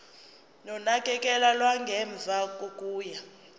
nonakekelo lwangemuva kokuya